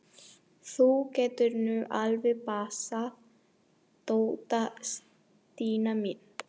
Þú getur nú alveg passað Dodda, Stína mín.